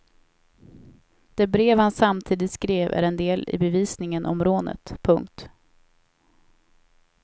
Det brev han samtidigt skrev är en del i bevisningen om rånet. punkt